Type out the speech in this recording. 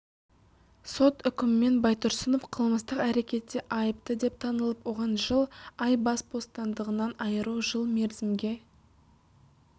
сот үкімімен байтұрсынов қылмыстық әрекетте айыпты деп танылып оған жыл ай бас бостандығынан айыру жыл мерзімге